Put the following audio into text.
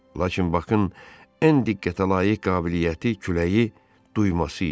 Lakin Bakın ən diqqətəlayiq qabiliyyəti küləyi duyulması idi.